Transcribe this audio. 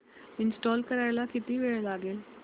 install करायला किती वेळ लागेल